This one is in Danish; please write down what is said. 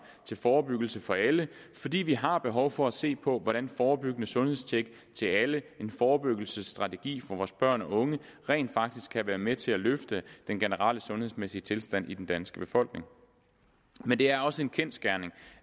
til forebyggelse for alle fordi vi har behov for at se på hvordan forebyggende sundhedstjek af alle en forebyggelsesstrategi for vores børn og unge rent faktisk kan være med til at løfte den generelle sundhedsmæssige tilstand hos den danske befolkning men det er også en kendsgerning